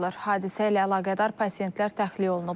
Hadisə ilə əlaqədar pasientlər təxliyə olunublar.